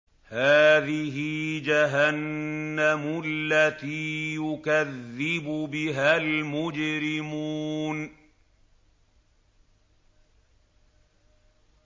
هَٰذِهِ جَهَنَّمُ الَّتِي يُكَذِّبُ بِهَا الْمُجْرِمُونَ